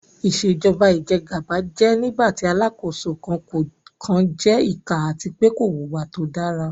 Ìṣèjọ́ba ìjẹ́gàba jẹ́ nígbàtí Alákóso kan jẹ ìkà àti pé kò wùwá tó dára